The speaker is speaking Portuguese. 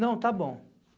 Não, tá bom.